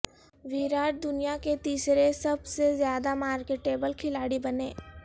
وراٹ دنیا کے تیسرے سب سے زیادہ مارکیٹ ایبل کھلاڑی بنے